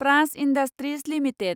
Praj industries limited